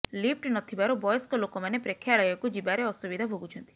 lift ନ ଥିବାରୁ ବୟସ୍କ ଲୋକମାନେ ପ୍ରେକ୍ଷାଳୟକୁ ଯିବାରେ ଅସୁବିଧା ଭୋଗୁଛନ୍ତି